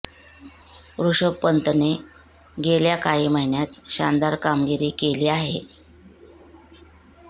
ऋषभ पंतने केल्या काही महिन्यात शानदार कामगिरी केली आहे